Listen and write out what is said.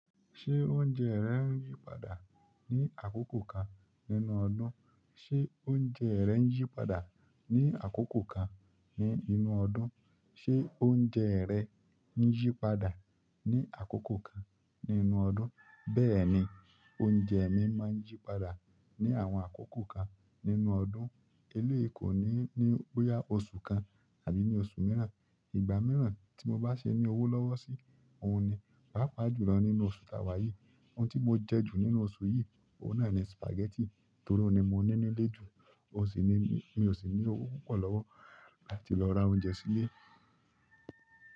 Ṣé oúnjẹ rẹ n yípadà ní àkókò kan nínú ọdún? Ṣé oúnjẹ rẹ n yípadà ní àkókò kan ní inú ọdún? Ṣé oúnjẹ rẹ n yípadà ní àkókò kan nínú ọdún? Bẹ́ẹ̀ni, oúnjẹ mi máa n yípadà ní àwọn àkókò kan nínú ọdún. Eléèé ko ní ní bóyá oṣù kan àbí ni oṣù mìíràn. Ìgbà mìíràn tí mo bá ṣe ní owó lọ́wọ́ sí, òun ni. Pàápàá, jùlọ nínú oṣù tá wá yìí. Ohun tí mo jẹ́ jù nínú oṣù yìí, òun náà ni spaghetti torí ó ni mo ní nílé jù, oun sì ni mi ò sì ní owó púpọ̀ lọ́wọ́ láti lọ ra oúnjẹ sílé.